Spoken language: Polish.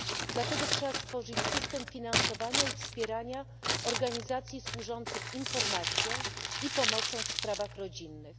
Dlatego trzeba stworzyć system finansowania i wspierania organizacji służących informacją i pomocą w sprawach rodzinnych.